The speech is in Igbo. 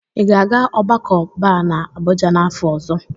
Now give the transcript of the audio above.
Ị ga-aga ogbako Bar na Abuja n'afọ ọzọ?